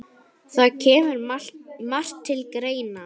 Það kemur margt til greina